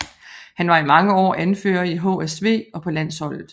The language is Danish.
Han var i mange år anfører i HSV og på landsholdet